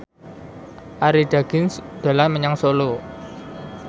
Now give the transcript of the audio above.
Arie Daginks dolan menyang Solo